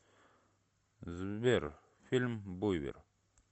сбер фильм буйвер